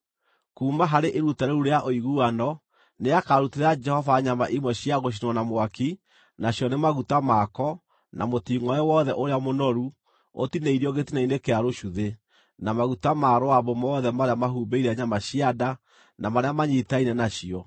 Kuuma harĩ iruta rĩu rĩa ũiguano, nĩakarutĩra Jehova nyama imwe cia gũcinwo na mwaki: nacio nĩ maguta mako, na mũtingʼoe wothe ũrĩa mũnoru ũtinĩirio gĩtina-inĩ kĩa rũcuthĩ, na maguta ma rũambũ mothe marĩa mahumbĩire nyama cia nda, na marĩa manyiitaine nacio,